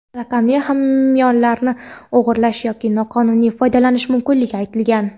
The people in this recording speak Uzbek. raqamli hamyonlarni o‘g‘irlash yoki noqonuniy foydalanish mumkinligi aytilgan.